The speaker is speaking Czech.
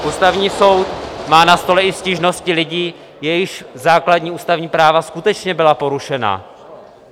Ústavní soud má na stole i stížnosti lidí, jejichž základní ústavní práva skutečně byla porušena.